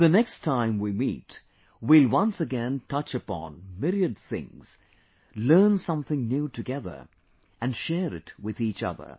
The next time we meet, we will once again touch upon myriad things, learn something new together and share it with each other